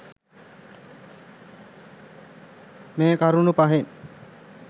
මේ කරුණු පහෙන්